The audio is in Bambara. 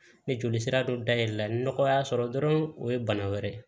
Ni joli sira dɔ dayɛlɛ la nɔgɔ y'a sɔrɔ dɔrɔn o ye bana wɛrɛ ye